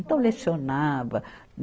Então, lecionava.